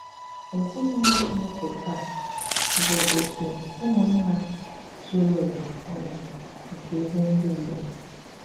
Èzìnùlò Chìnékè tàà bụ òtù ùmụ̀nnà zùrù ùwa ònù nke ezi ndị Ìgbò.